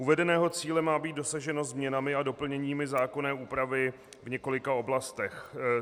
Uvedeného cíle má být dosaženo změnami a doplněními zákonné úpravy v několika oblastech.